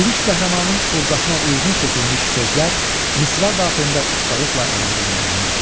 Lirik qəhrəmanın ovqatına uyğun seçilmiş sözlər misra daxilində ustalıqla əlaqələndirilmişdir.